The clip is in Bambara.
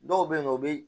Dɔw bɛ yen nɔ o bɛ